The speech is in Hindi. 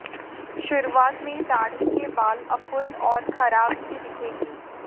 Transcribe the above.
शुरुआत में दाढ़ी के बाल अपूर्ण और खराब सी दिखेंगी